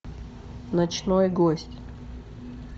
ночной гость